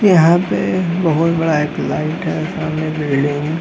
यहाँ पे एक बहुत बड़ा एक लाइट है सामने बिल्डिंग --